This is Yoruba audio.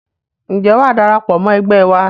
Ǹjẹ́ wàá darapọ̀ mọ́ ẹgbẹ́ wa?